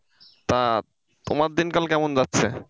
আহ তোমার দিনকাল কেমন যাচ্ছে?